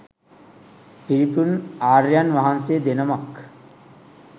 පිරිපුන් ආර්යයන් වහන්සේ දෙනමක්.